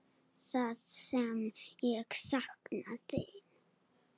Það sem ég sakna þín.